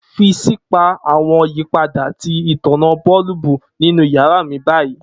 Fi si pa awọn yipada ti itanna boolubu ninu yara mi bayi!.